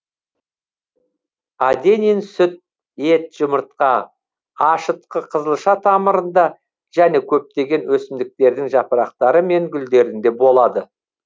аденин сүт ет жұмыртқа ашытқы қызылша тамырында және көптеген өсімдіктердің жапырақтары мен гүлдерінде болады